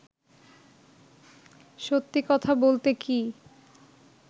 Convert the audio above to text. সত্যি কথা বলতে কী